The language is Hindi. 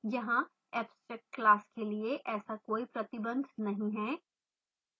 यहाँ abstract class के लिए ऐसा कोई प्रतिबंध नहीं है